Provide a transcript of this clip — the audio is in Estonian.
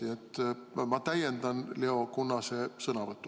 Nii et ma täiendan Leo Kunnase sõnavõttu.